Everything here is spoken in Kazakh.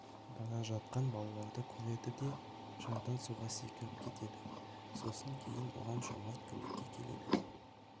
бара жатқан балаларды көреді де жардан суға секіріп етеді сосын кейін оған жомарт көмекке келеді